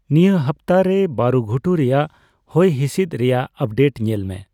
ᱱᱤᱭᱟᱹ ᱦᱟᱯᱛᱟ ᱨᱮ ᱵᱟᱹᱨᱩᱜᱷᱩᱴᱩ ᱨᱮᱭᱟᱜ ᱦᱚᱭᱦᱤᱥᱤᱥᱫ ᱨᱮᱭᱟᱜ ᱟᱯᱰᱮᱴ ᱧᱮᱞᱢᱮ